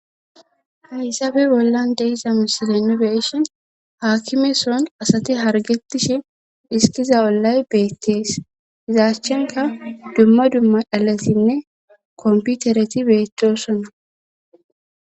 Haysabe bollan deiza misilene beeshin haakkime soon asati hargetishe dhiskiza ollay beettees izaachchenka dumma dumma dhalesinne komputereti beetosonna